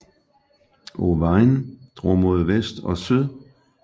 Owain drog mod vest og syd